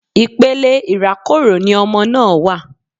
Ipele irakoro ni ọmọ náà wa